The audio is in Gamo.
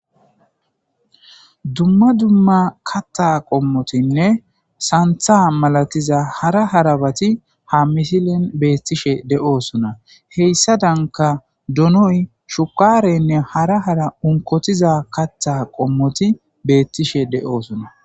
Dumma dumma katta qommotinne santha malatiza hara harabati ha misilen beettishe de'oosona heyssa danka donoy shukarenne hara hara unkotiza katta qommoti beettishe de'oosona.